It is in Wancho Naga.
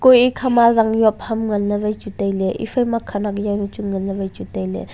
kui ikhama zang zob ham nganle vai chu taile iphaima khanyak zaunu chu nganle vai chu taile.